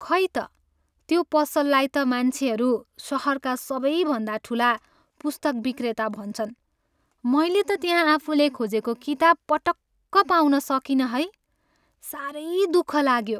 खै त, त्यो पसललाई त मान्छेहरू सहरका सबैभन्दा ठुला पुस्तक विक्रेता भन्छन्, मैले त त्यहाँ आफुले खोजेको किताब पटक्क पाउन सकिनँ है। साह्रै दुःख लाग्यो।